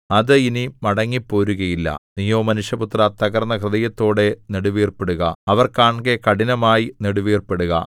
അത് ഇനി മടങ്ങിപ്പോരുകയില്ല നീയോ മനുഷ്യപുത്രാ തകർന്ന ഹൃദയത്തോടെ നെടുവീർപ്പിടുക അവർ കാൺകെ കഠിനമായി നെടുവീർപ്പിടുക